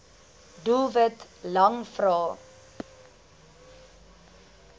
doelwit lang vrae